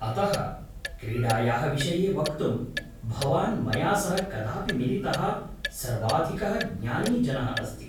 अतः, क्रीडायाः विषये वक्तुम्, भवान् मया सह कदापि मिलितः सर्वाधिकः ज्ञानी जनः अस्ति ।